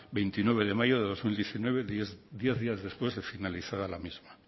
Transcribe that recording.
veintinueve de mayo de dos mil diecinueve diez días después de finalizada la misma